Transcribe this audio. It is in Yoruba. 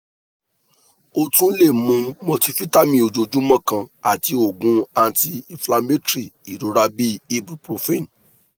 o tun le mu multivitamin ojoojumọ kan ati oogun anti-inflammatory irora bi ibuprofen